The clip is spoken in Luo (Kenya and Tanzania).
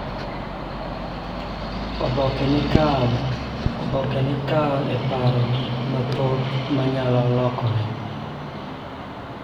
Oboke ni kawo e paro gik mathoth ma nyalo lokore.